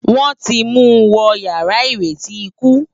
Wòn ti mú wò iyàrá iréti ikú